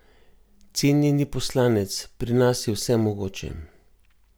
Cenjeni poslanec, pri nas je vse mogoče.